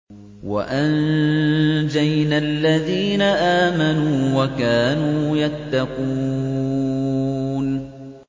وَأَنجَيْنَا الَّذِينَ آمَنُوا وَكَانُوا يَتَّقُونَ